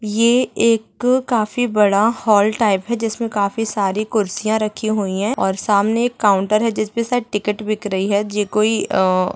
ये एक काफी बाद हाल टाइप हे जिसमे सारी खुरसिया राखी हुई हे सामने एक काउन्टर हे जिसपे सायद टिकट बिक रही हे जे कोई ।